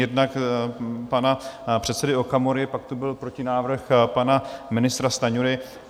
Jednak pana předsedy Okamury, pak tu byl protinávrh pana ministra Stanjury.